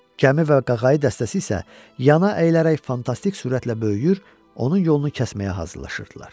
Gəmi və qağayı dəstəsi isə yana əyilərək fantastik sürətlə böyüyür, onun yolunu kəsməyə hazırlaşırdılar.